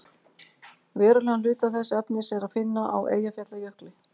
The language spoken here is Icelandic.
verulegan hluta þess efnis er að finna á eyjafjallajökli